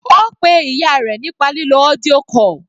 Ó pe ìyá rẹ̀ nípa lílo audio call.